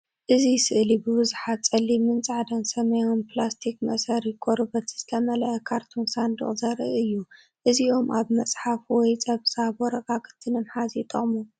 እዚ ስእሊ ብብዙሓት ጸሊምን ጻዕዳን ሰማያውን ፕላስቲክ መእሰሪ ቆርበት ዝተመልአ ካርቶን ሳንዱቕ ዘርኢ እዩ። እዚኦም ኣብ መጽሓፍ ወይ ጸብጻብ ወረቓቕቲ ንምሓዝ ይጥቀሙ።